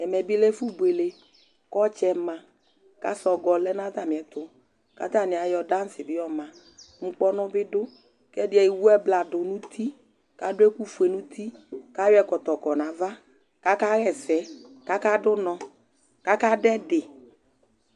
Ɛmɛ bɩ lɛ ɛfʋbuele kʋ ɔtsɛ ma kʋ asɔgɔ lɛ nʋ atamɩɛtʋ kʋ atanɩ ayɔ dansɩ bɩ yɔma Ŋkpɔnʋ bɩ dʋ kʋ ɛdɩ ewu ɛbladʋ nʋ uti kʋ adʋ ɛkʋfue nʋ uti kʋ ayɔ ɛkɔtɔ kɔ nʋ ava kʋ akaɣa ɛsɛ kʋ akadʋ ʋnɔ kʋ akadʋ ɛdɩ